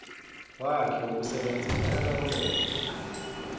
wakhe wokusebenza ayalawuleka